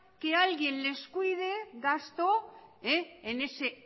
que alguien les cuide gasto en ese